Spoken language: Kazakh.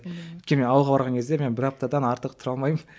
ммм өйткені мен ауылға барған кезде мен бір аптадан артық тұра алмаймын